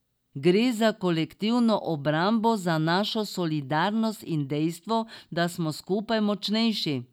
Gre za kolektivno obrambo, za našo solidarnost in dejstvo, da smo skupaj močnejši.